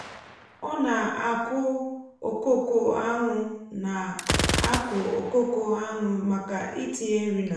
ọ na-akụ okooko anwụ na-akụ okooko anwụ maka itinye nri n’ala